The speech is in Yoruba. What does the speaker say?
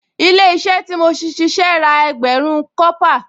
Ilé-iṣẹ́ tí mo ti ṣíṣe ra ẹgbẹ̀rún kọ́pà